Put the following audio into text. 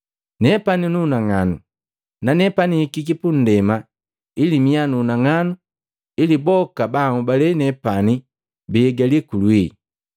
Nepani nunang'anu, nanepani nhikiki pundema ili miya nunang'anu ili boka ba anhobalee nepani biigali kulwii.